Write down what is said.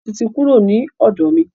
Tóyọ̀sí ti kúrò ni ọ̀dọ̀ mi.